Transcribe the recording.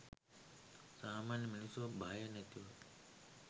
සාමාන්‍ය මිනිස්සු භය නැතුව